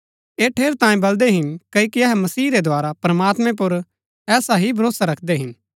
ऐह ठेरैतांये बलदै हिन क्ओकि अहै मसीह रै द्धारा प्रमात्मैं पुर ऐसा ही भरोसा रखदै हिन